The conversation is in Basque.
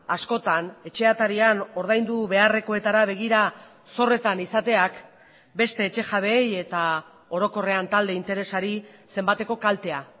askotan etxe atarian ordaindu beharrekoetara begira zorretan izateak beste etxe jabeei eta orokorrean talde interesari zenbateko kaltea